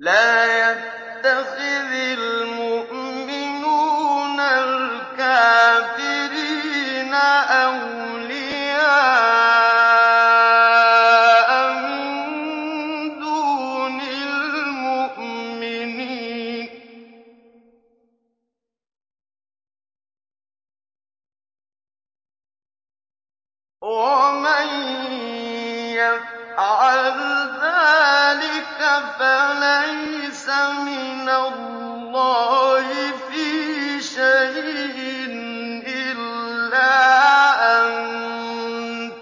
لَّا يَتَّخِذِ الْمُؤْمِنُونَ الْكَافِرِينَ أَوْلِيَاءَ مِن دُونِ الْمُؤْمِنِينَ ۖ وَمَن يَفْعَلْ ذَٰلِكَ فَلَيْسَ مِنَ اللَّهِ فِي شَيْءٍ إِلَّا أَن